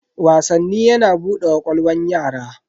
Wasanni yana bude ƙwaƙwalwan yara.